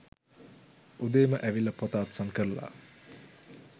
උදේම ඇවිල්ල පොත අත්සන් කරල